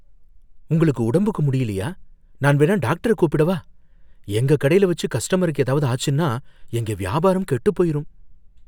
உங்களுக்கு உடம்புக்கு முடியலயா, நான் வேணா டாக்டர கூப்பிடவா? எங்க கடைல வச்சு கஸ்டமர்ஸுக்கு ஏதாவது ஆச்சுன்னா எங்க வியாபாரம் கெட்டுப் போயிரும்